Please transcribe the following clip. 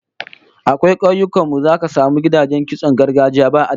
A kauyukan mu zaka samu gidajen kitson gargajiya ba adadi